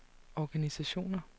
organisationer